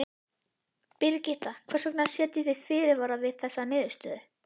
Birgitta, hvers vegna setjið þið fyrirvara við þessa niðurstöðu?